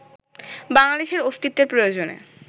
বাংলাদেশের অস্তিত্বের প্রয়োজনে